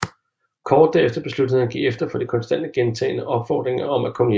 Kort derefter besluttede han at give efter for de konstant gentagne opfordringer om at komme hjem